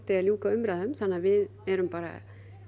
að ljúka umræðum þannig að við erum bara